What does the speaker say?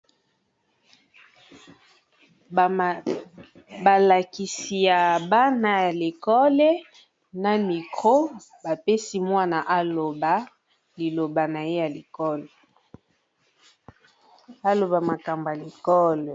Ba lakisi ya bana ya l'ecole, na micro ba pesi mwana aloba liloba naye ya école aloba makambo ya l'ecole.